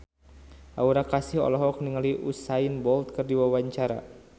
Aura Kasih olohok ningali Usain Bolt keur diwawancara